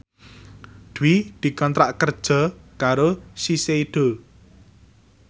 Dwi dikontrak kerja karo Shiseido